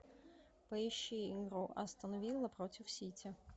поищи игру астон вилла против сити